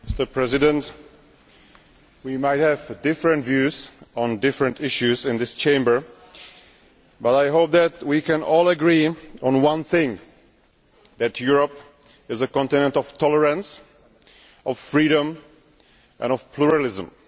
Mr President, we might have different views on different issues in this Chamber, but I hope that we can all agree on one thing that Europe is a continent of tolerance, of freedom and of pluralism.